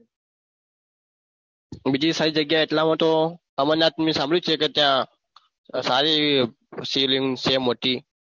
બીજી સારી જગ્યા એટલા માં તો અમરનાથ મેં સાંભળ્યું છે કે ત્યાં સારી એવી શિવલિંગ છે મોટી.